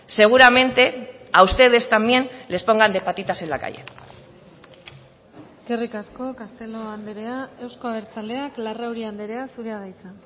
seguramente a ustedes también les pongan de patitas en la calle eskerrik asko castelo andrea euzko abertzaleak larrauri andrea zurea da hitza